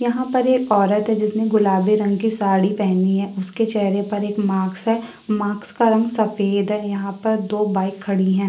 यहाँ पर एक औरत है जिसने गुलाबी रंग की साड़ी पहनी है। उसके चेहरे पर एक मार्क्स है। मार्क्स का रंग सफेद है। यहाँ पर दो बाइक खड़ी है।